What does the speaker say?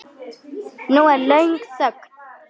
Nú er löng þögn.